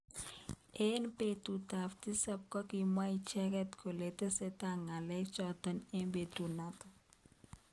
Eng betut ab tisab kokimwa icheket kole tesetai ngalek chotok eng betuno.